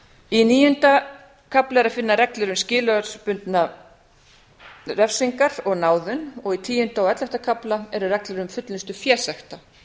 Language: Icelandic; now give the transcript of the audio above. í níunda kafla er að finna reglur um skilorðsbundnar refsingar og náðun í tíunda og ellefta kafla eru reglur um fullnustu fésekta